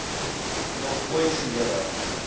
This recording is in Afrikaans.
nog ooit gelewe